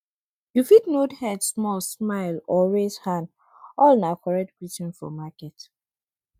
you fit nod head small smile or raise hand all na correct greeting for market